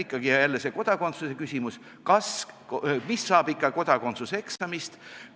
Ikkagi see kodakondsuse küsimus – mis saab kodakondsuse eksamist?